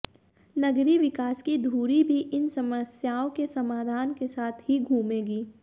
नगरीय विकास की धुरी भी इन समस्याओं के समाधान के साथ ही घूमेगी